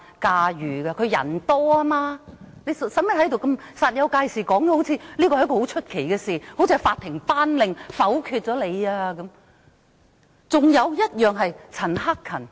所以她用不着在此煞有介事地說成是甚麼出奇的事，就好像是法庭頒令否決一樣。